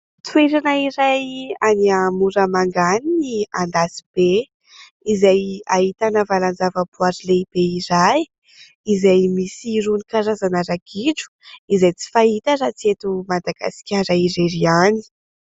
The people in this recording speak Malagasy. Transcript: Toerana iray any Moramanga any ny Andasibe izay ahitana valan-javaboahary lehibe iray izay misy irony karazana ragidro izay tsy fahita raha tsy eto Madagasikara irery ihany.